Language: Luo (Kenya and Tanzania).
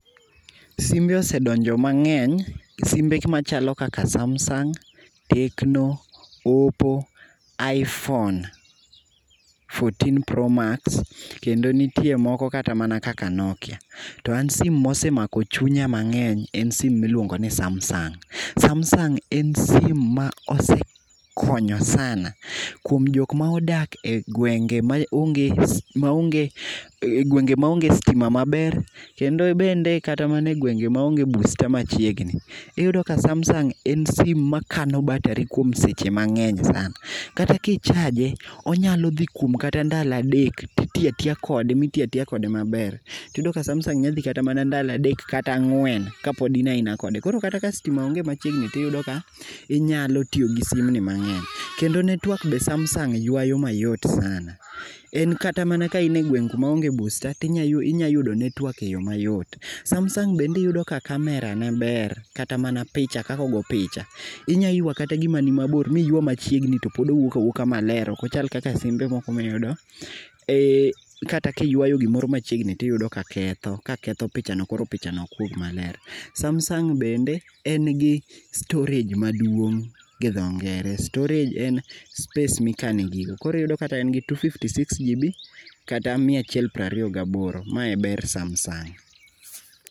Simbe osedonjo mangeny ,simbe machalo kaka Samsung, Tecno, Oppo, Iphone 14 pro max, kendo nitie moko kata mana kaka Nokia. To an sim mosemako chunya mangeny en sim miluongoni Samsung, Samsung e sim mosekonyo sana kuom jok modak e gwenge maonge, maonge, gwenge maonge stima maber kendo bende kata gwenge maonge booster machiegni. Iyudo ka Samsung en sim makano battery kuom seche mangeny sana, kata ki chaje onyalo dhi kata kuom ndalo adek, titiyo atiya kode, mitiyo atiya kode maber. Tiyido ka Samsung nyadhi kata ndalo adek kata angwen kapod in aina kode, koro kata ka stima onge machiegni tiyudo ka inyalo tiyo gi simu ni mangeny. kendo network be Samsung ywayo mayot sana. En kata ka in e gwenge maonge [sc]booster tinyalo ywayo [sc]network mayot. Samsung bende iyudo ka [sc]camera[sc] ne ber, kata man [sc]picha, kaka ogo picha. Inya ywa kata gim ani mabor miywa machiegni towuok awuoka maler ok ochal kaka simbe miyude, eeeh, kata kiywayo gimoro machiegni tiyudo ka ketho, ka ketho pichano koro pichano ok wuog maler. Samsung bende en gi storage maduong gi dho ngere, storage en space mikane gigo, koro iyudo kata en gi 256GB kata mia achiel prariyo gaboro, mae e ber Samsung